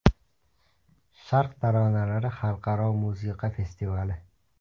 Sharq taronalari xalqaro musiqa festivali.